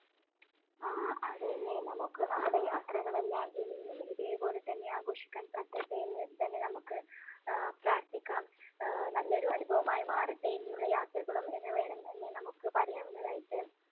ആ അതേ അല്ലേ? നമുക്ക് നമ്മുടെ യാത്രകളെല്ലാം ഇനിയും ഇതേപോലെതന്നെ ആഘോഷിക്കാൻ പറ്റട്ടെ എന്നുതന്നെ നമുക്ക് അഹ് പ്രാർഥിക്കാം. ആഹ് നല്ല ഒരു അനുഭവമായി മാറട്ടെ ഇനിയുള്ള യാത്രകളും എന്നു വേണം, എന്നു നമുക്ക് പറയാവുന്നതായിട്ട്